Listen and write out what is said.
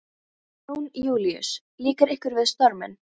Jón Júlíus: Líkar ykkur við storminn?